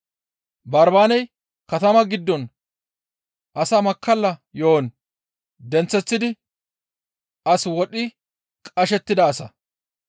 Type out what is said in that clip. Barbaaney katama giddon asaa makkalla yo7on denththeththidi as wodhi qashettida asa.